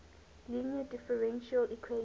linear differential equation